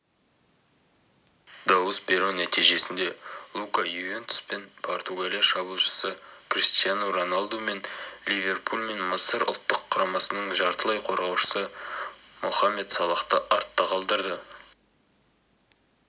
дауыс беру нәтижесінде лука ювентус пен португалия шабуылшысы криштиану роналду мен ливерпуль мен мысыр ұлттық құрамасының жартылайқорғаушысы мохамед салахты артта қалдырды